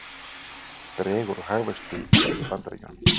Dregur úr hagvexti í Bandaríkjunum